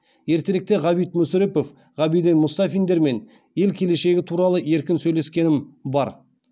ертеректе ғабит мүсрепов ғабиден мұстафиндермен ел келешегі туралы еркін сөйлескенім бар